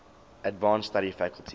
advanced study faculty